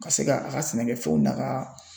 Ka se ka a ka sɛnɛkɛfɛnw daka.